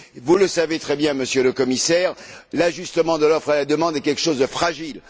Vous le savez très bien, Monsieur le Commissaire, l'ajustement de l'offre et de la demande est quelque chose de fragile.